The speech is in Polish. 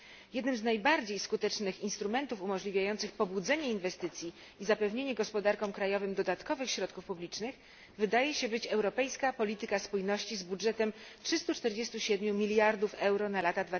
Jednym z najbardziej skutecznych instrumentów umożliwiających pobudzenie inwestycji i zapewnienie gospodarkom krajowym dodatkowych środków publicznych wydaje się być europejska polityka spójności z budżetem 347 mld euro na lata